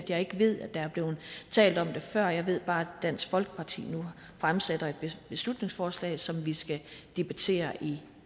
jeg ikke ved at der er blevet talt om det før jeg ved bare at dansk folkeparti nu fremsætter et beslutningsforslag som vi skal debattere i